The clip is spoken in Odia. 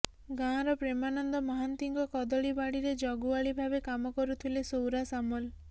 ଗାଁର ପ୍ରେମାନନ୍ଦ ମହାନ୍ତିଙ୍କ କଦଳୀ ବାଡ଼ିରେ ଜଗୁଆଳୀ ଭାବେ କାମ କରୁଥିଲେ ସୌରା ସାମଲ